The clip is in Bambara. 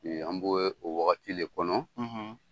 An b'o o wagati de kɔnɔ.